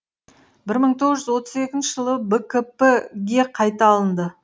бір мың тоғыз жүз отыз екінші жылы бкп ге қайта алынды